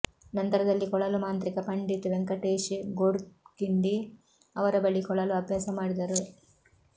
ನಂತರದಲ್ಲಿ ಕೊಳಲು ಮಾಂತ್ರಿಕ ಪಂಡಿತ್ ವೆಂಕಟೇಶ್ ಗೋಡ್ಖಿಂಡಿ ಅವರ ಬಳಿ ಕೊಳಲು ಅಭ್ಯಾಸ ಮಾಡಿದರು